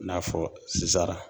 I n'a fɔ